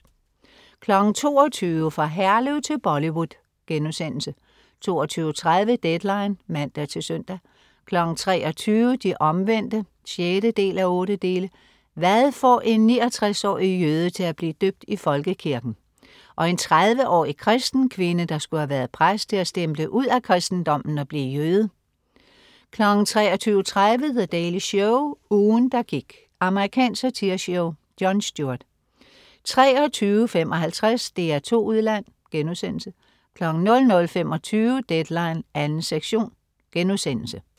22.00 Fra Herlev til Bollywood* 22.30 Deadline (man-søn) 23.00 De Omvendte 6:8. Hvad får en 69-årig jøde til at blive døbt i folkekirken? Og en 30-årig kristen kvinde, der skulle have været præst, til at stemple ud af kristendommen og blive jøde? 23.30 The Daily Show. Ugen, der gik. Amerikansk satireshow. Jon Stewart 23.55 DR2 Udland* 00.25 Deadline 2. sektion*